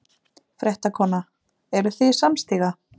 Fréttakona: Eruð þið samstíga?